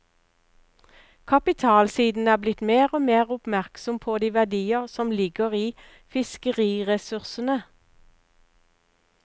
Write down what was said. Kapitalsiden er blitt mer og mer oppmerksom på de verdier som ligger i fiskeriressursene.